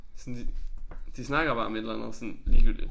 Sådan de de snakker bare om et eller andet sådan ligegyldigt